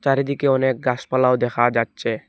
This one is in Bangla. চারিদিকে অনেক গাসপালাও দেখা যাচ্ছে।